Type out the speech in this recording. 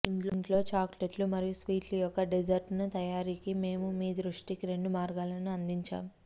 ఇంట్లో చాక్లెట్లు మరియు స్వీట్లు యొక్క డెజర్ట్ తయారీకి మేము మీ దృష్టికి రెండు మార్గాలను అందించాము